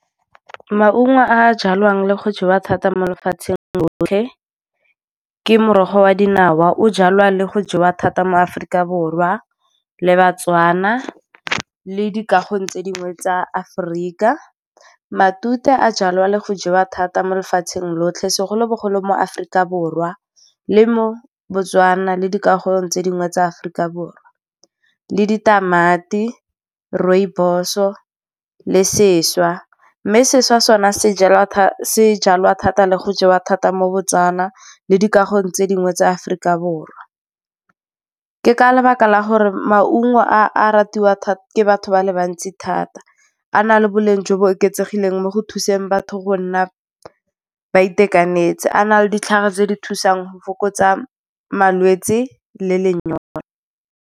Maungo a jalwang le go jewa thata mo lefatsheng lotlhe ke morogo wa dinawa. O jalwa le go jewa thata mo Aforika Borwa, le baTswana, le dikagong tse dingwe tsa Aforika. Matute a jalwa le go jewa thata mo lefatsheng lotlhe, segolobogolo mo Aforika Borwa le mo Botswana, le dikagong tse dingwe tsa Aforika Borwa. Le ditamati, rooibos-o le seswa, mme seswa sona se jalwa thata le go jewa thata mo Botswana le dikagong tse dingwe tsa Aforika Borwa. Ke ka lebaka la gore maungo a a ratiwa ke batho ba le bantsi thata. A na le boleng jo bo oketsegileng mo go thuseng batho go nna ba itekanetse, a na le ditlhare tse di thusang go fokotsa malwetse le lenyora.